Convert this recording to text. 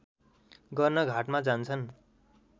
गर्न घाटमा जान्छन्